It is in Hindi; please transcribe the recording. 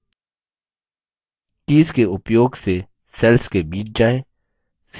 कीज़ के उपयोग से cells के बीच जाएँ